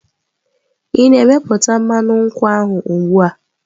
Ị na-meputá mmanụ nkwụ ahụ ugbu a?